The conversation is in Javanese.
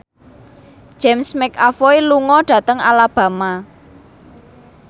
James McAvoy lunga dhateng Alabama